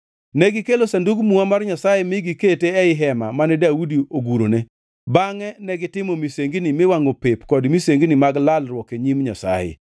Negikelo Sandug Muma mar Nyasaye mi gikete ei hema mane Daudi ogurone, bangʼe negitimo misengini miwangʼo pep kod misengini mag lalruok e nyim Nyasaye.